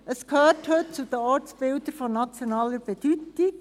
Es gehört heute zu den Ortsbildern von nationaler Bedeutung.